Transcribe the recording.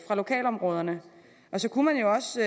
lokalområderne så kunne man jo også